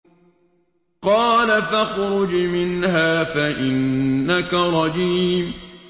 قَالَ فَاخْرُجْ مِنْهَا فَإِنَّكَ رَجِيمٌ